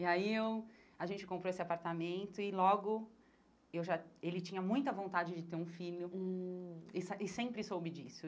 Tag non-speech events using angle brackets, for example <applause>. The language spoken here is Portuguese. E aí eu a gente comprou esse apartamento e logo eu já ele tinha muita vontade de ter um filho hum e <unintelligible> e sempre soube disso.